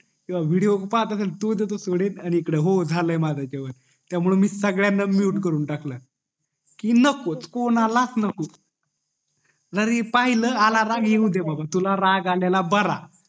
किव्हा विडिओ पाहतअसेल तो दयचो सोडून आणि इकडे झालंय माझं जेवण त्यामुळे मी सगळयांना mute करून टाकलं कि नको कोणाला च नको जरी पाहिलं तुला आला राग त येउदे बाबा तुला राग आलेला बरा